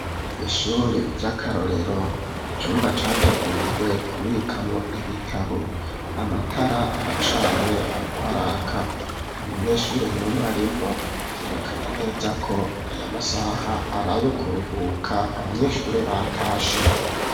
Ishure ry'akarorero, icumba categuriwe kubikamwo ibitabo, amatara aracanye ariko araka, nta munyeshuri numwe arimwo, vyerekana neza ko aya masaha arayo kuruhuka abanyeshuri batashe.